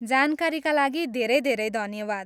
जानकारीका लागि धेरै धेरै धन्यवाद।